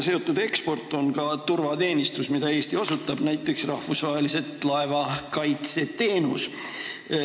Relvade eksport seostub ka turvateenistusega, mida Eesti osutab, näiteks rahvusvahelise laevakaitse teenusega.